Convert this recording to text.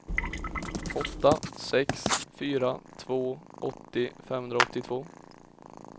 åtta sex fyra två åttio femhundraåttiotvå